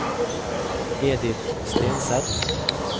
Edith Stenseth